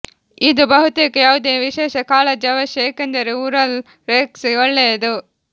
ಇದು ಬಹುತೇಕ ಯಾವುದೇ ವಿಶೇಷ ಕಾಳಜಿ ಅವಶ್ಯ ಏಕೆಂದರೆ ಉರಲ್ ರೆಕ್ಸ್ ಒಳ್ಳೆಯದು